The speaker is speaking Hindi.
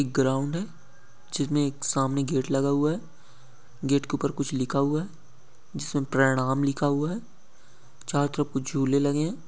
एक ग्राउंड है जिसमें एक सामने गेट लगा हुआ है गेट के ऊपर कुछ लिखा हुआ है जिसमें प्रणाम लिखा हुआ है साउथ पे कुछ झूले लगे है।